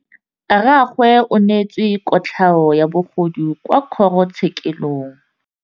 Rragwe o neetswe kotlhaô ya bogodu kwa kgoro tshêkêlông.